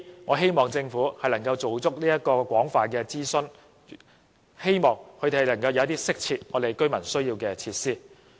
我希望政府能夠就相關計劃進行廣泛諮詢，以致能夠提供一些市民需要而又適切的設施。